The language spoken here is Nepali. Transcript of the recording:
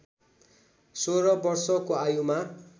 सोह्र वर्षको आयुमा